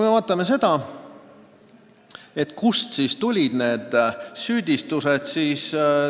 Aga jah, kust tulid need süüdistused?